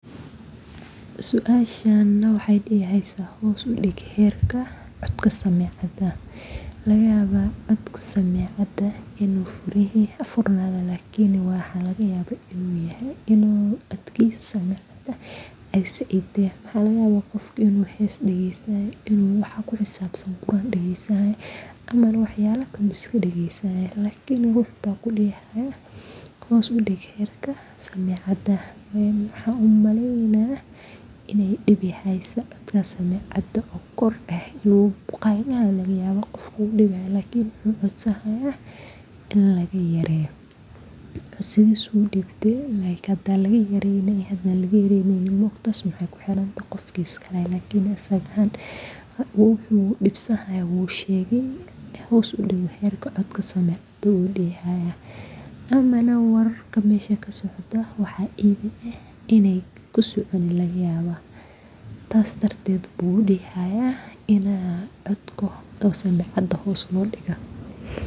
hoos udig herka codka samecada